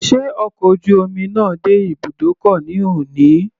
Sé ọkọ̀ ojú omi náà dé ibùdókọ̀ ní òní?